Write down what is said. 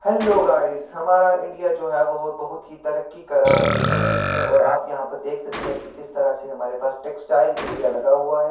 Hello guys हमारा India जो है वह बोहोत बहुत ही तरक्की कर रहा है बिज़नस इसमे और आप यहाँ पे देख सकते है कि किस तरह से हमारे पास टेक्सटाइल इंडिया लगा हुआ है।